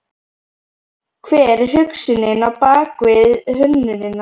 Hver er hugsunin á bakvið hönnunina?